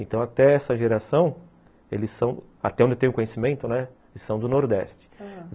Então, até essa geração, eles são, até onde eu tenho conhecimento, né, eles são do Nordeste. Ãh.